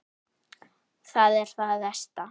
Það er það versta.